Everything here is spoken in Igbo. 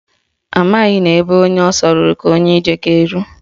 Ọ maghị na ọ bụ ebe onye ọsọ rụrụ ka onye ije ga-eru